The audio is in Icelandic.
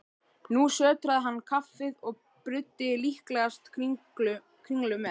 Nú sötraði hann kaffið og bruddi líklegast kringlu með.